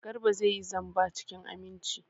Garba zai yi zamba cikin aminci.